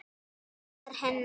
Hann var hennar.